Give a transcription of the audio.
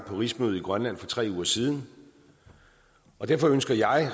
rigsmødet i grønland for tre uger siden og derfor ønsker jeg